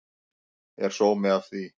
Er sómi af því?